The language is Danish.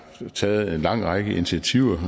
taget en lang række initiativer